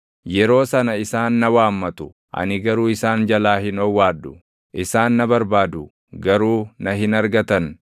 “Yeroo sana isaan na waammatu; ani garuu isaan jalaa hin owwaadhu; isaan na barbaadu; garuu na hin argatan.